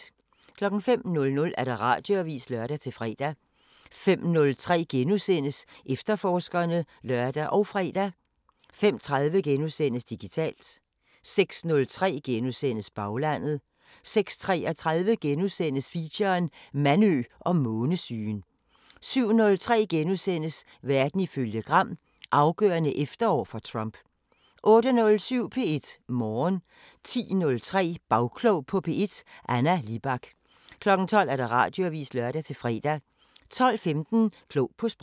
05:00: Radioavisen (lør-fre) 05:03: Efterforskerne *(lør og fre) 05:30: Digitalt * 06:03: Baglandet * 06:33: Feature: Mandø og månesygen * 07:03: Verden ifølge Gram: Afgørende efterår for Trump * 08:07: P1 Morgen 10:03: Bagklog på P1: Anna Libak 12:00: Radioavisen (lør-fre) 12:15: Klog på Sprog